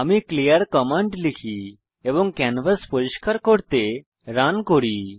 আমি clear command লিখি এবং ক্যানভাস পরিষ্কার করতে রান করি